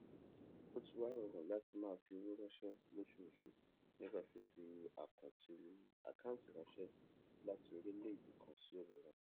ó ti wá rọrùn láti máa fi owó ránṣé lóṣooṣù nípa fífi àkáǹtì ránṣé láti orílèèdè kan sí òmíràn